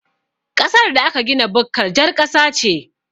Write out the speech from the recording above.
Ƙasar da aka gina bukkar jar ƙasa ce